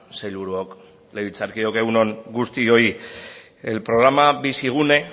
sailburuok legebiltzarkideok egun on guztiok el programa bizigune